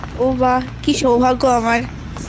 ও বাহ! কি সৌভাগ্য আমার